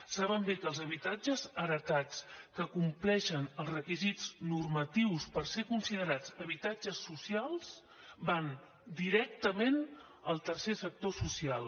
saben bé que els habitatges heretats que compleixen els requisits normatius per ser considerats habitatges socials van directament al tercer sector social